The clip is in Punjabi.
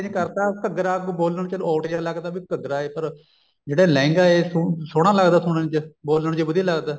ਕਰਤਾ ਘੱਗਰਾ ਬੋਲਣ ਚ odd ਜਿਹਾ ਲੱਗਦਾ ਵੀ ਘੱਗਰਾ ਜੇਕਰ ਜਿਹੜਾ ਲਹਿੰਗਾ ਉਹ ਸੋਹਣਾ ਲੱਗਦਾ ਸੁਣਨ ਚ ਬੋਲਣ ਚ ਵਧੀਆ ਲੱਗਦਾ